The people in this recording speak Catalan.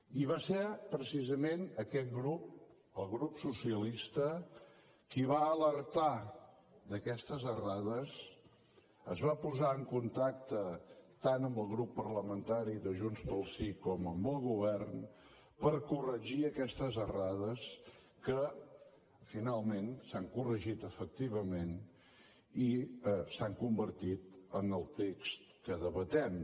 i va ser precisament aquest grup el grup socialista qui va alertar d’aquestes errades es va posar en contacte tant amb el grup parlamentari de junts pel sí com amb el govern per corregir aquestes errades que finalment s’han corregit efectivament i s’han convertit en el text que debatem